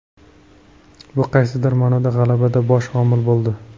Bu qaysidir ma’noda g‘alabada bosh omil bo‘ldi.